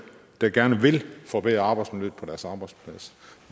der gerne vil forbedre arbejdsmiljøet på deres arbejdsplads